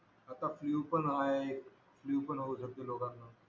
आता फ्लू पण आहे फ्लूपण होऊ शकतो लोकांना